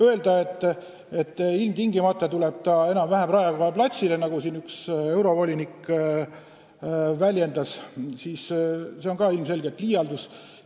Öelda, et see tuleb ilmtingimata enam-vähem Raekoja platsile, nagu siin üks eurovolinik väljendas, on ilmselgelt liialdus.